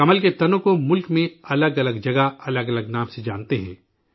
کمل کے تنوں کو ملک میں الگ الگ جگہ، الگ الگ نام سے، جانتے ہیں